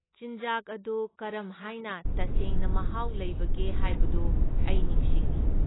ꯆꯤꯟꯖꯥꯛ ꯑꯗꯨ ꯀꯔꯝꯍꯥꯏꯅ ꯇꯁꯦꯡꯅ ꯃꯍꯥꯎ ꯂꯩꯕꯒꯦ ꯍꯥꯏꯕꯗꯨ ꯑꯩ ꯅꯤꯡꯁꯤꯡꯏ꯫